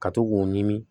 Ka to k'o ɲimi